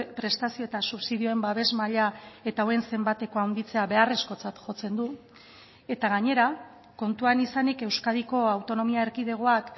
prestazio eta subsidioen babes maila eta hauen zenbateko handitzea beharrezkotzat jotzen du eta gainera kontuan izanik euskadiko autonomia erkidegoak